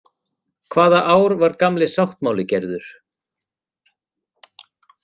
Hvaða ár var Gamli sáttmáli gerður?